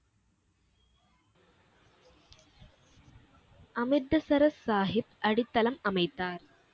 அமிர்தசரஸ் சாஹிப் அடித்தளம் அமைத்தார்.